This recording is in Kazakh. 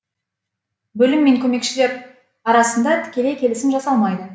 бөлім мен көмекшілер арасында тікелей келісім жасалмайды